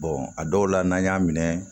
a dɔw la n'an y'a minɛ